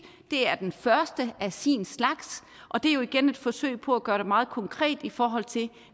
det er den første af sin slags og det er igen et forsøg på at gøre det meget konkret i forhold til